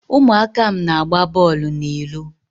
ụmụaka m na-agba bọọlụ n'ilo.